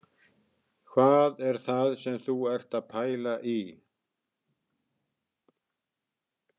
Hvað er það sem þú ert að pæla í